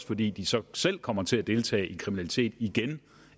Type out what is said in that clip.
fordi de så selv kommer til at deltage i kriminalitet igen